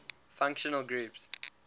functional groups